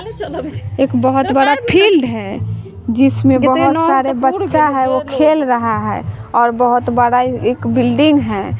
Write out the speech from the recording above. एक बहोत बड़ा फील्ड है जिसमें बोहोत सारे बच्चा है वो खेल रहा है और बहोत बड़ा एक बिल्डिंग हैं।